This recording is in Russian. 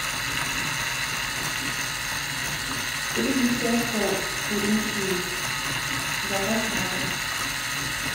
три десятка куриных яиц заказ на дом